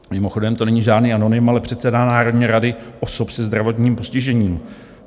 Mimochodem to není žádný anonym, ale předseda Národní rady osob se zdravotním postižením.